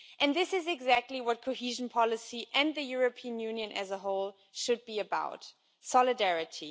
This is exactly what cohesion policy, and the European Union as a whole, should be about solidarity.